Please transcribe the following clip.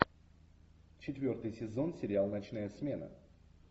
четвертый сезон сериал ночная смена